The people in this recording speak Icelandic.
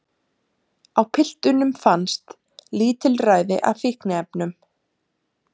Á piltunum fannst lítilræði af fíkniefnum